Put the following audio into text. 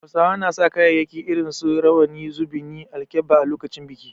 Hausawa na sa kayayyaki irin su Rawani, Zubuni, alkebba a lokacin biki.